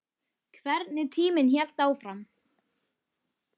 Hvernig tíminn hélt áfram.